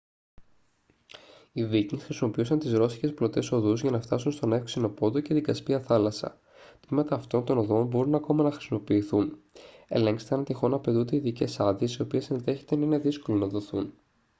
οι βίκινγκς χρησιμοποιούσαν τις ρωσικές πλωτές οδούς για να φτάσουν στον εύξεινο πόντο και στην κασπία θάλασσα τμήματα αυτών των οδών μπορούν ακόμη να χρησιμοποιηθούν ελέγξτε αν τυχόν απαιτούνται ειδικές άδειες οι οποίες ενδέχεται να είναι δύσκολο να δοθούν